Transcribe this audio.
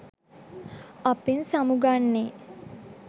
අපෙන් සමුගන්නෙ?